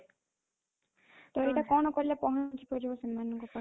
ତ ଏଇଟା କଣ କଲେ ପହଂଚି ପାରିବ ସେମାନଙ୍କ ପାଖରେ